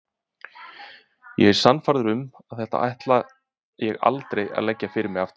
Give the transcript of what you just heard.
Ég er sannfærður um að þetta ætla ég aldrei að leggja fyrir mig aftur.